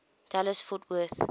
dallas fort worth